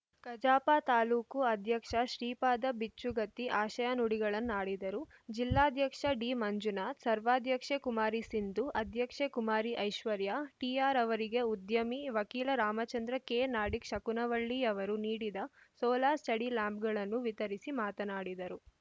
ಕಜಾಪ ತಾಲೂಕು ಅಧ್ಯಕ್ಷ ಶ್ರೀಪಾದ ಬಿಚ್ಚುಗತ್ತಿ ಆಶಯ ನುಡಿಗಳನ್ನಾಡಿದರು ಜಿಲ್ಲಾಧ್ಯಕ್ಷ ಡಿ ಮಂಜುನಾಥ ಸರ್ವಾಧ್ಯಕ್ಷೆ ಕುಮಾರಿ ಸಿಂಧು ಅಧ್ಯಕ್ಷೆ ಕುಮಾರಿ ಐಶ್ವರ್ಯ ಟಿಆರ್‌ ಅವರಿಗೆ ಉದ್ಯಮಿ ವಕೀಲ ರಾಮಚಂದ್ರ ಕೆ ನಾಡಿಗ್‌ ಶಕುನವಳ್ಳಿಯವರು ನೀಡಿದ ಸೋಲಾರ್‌ ಸ್ಟಡಿ ಲ್ಯಾಂಪ್‌ಗಳನ್ನು ವಿತರಿಸಿ ಮಾತನಾಡಿದರು